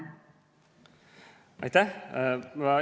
Aitäh!